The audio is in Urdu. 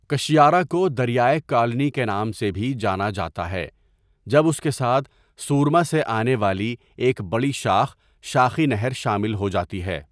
کشیارا کو دریائے کالنی کے نام سے بھی جانا جاتا ہے جب اس کے ساتھ سورما سے آنے والی ایک بڑی شاخ شاخی نہر شامل ہو جاتی ہے.